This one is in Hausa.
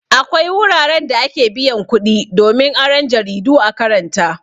Akwai wuraran da ake biyan kuɗi domin aron jaridu a karanta.